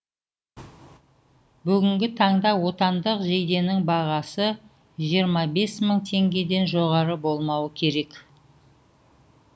бүгінгі таңда отандық жейденің бағасы жиырма бес мың теңгеден жоғары болмауы керек